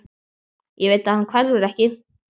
Ég veit að hann hverfur ekki.